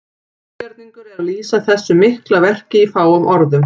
Ógerningur er að lýsa þessu mikla verki í fáum orðum.